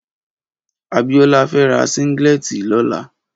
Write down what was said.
Abiola fè rà sìnglètí lòlá